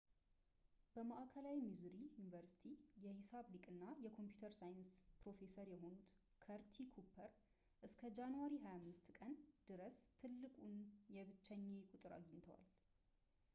በማዕከላዊ ሚዙሪ ዩኒቨርሲቲ የሂሳብ ሊቅ እና የኮምፒተር ሳይንስ ፕሮፌሰር የሆኑት ከርቲስ ኩፐር እስከ ጃንዋሪ 25 ቀን ድረስ ትልቁን የብቸኜ ቁጥር አግኝተዋል